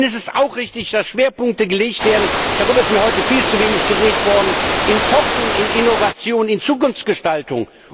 Es ist auch richtig, dass Schwerpunkte gesetzt werden darüber wurde mir heute viel zu wenig geredet in Forschung, Innovation und Zukunftsgestaltung.